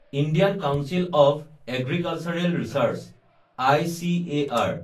Indian council of agricultural research (ICAR)